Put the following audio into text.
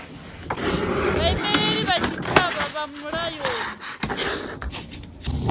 vhaimeleli vha tshitshavha vha mulayoni